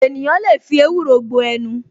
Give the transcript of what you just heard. Ènìyàn lè fi ewúro gbo ẹnu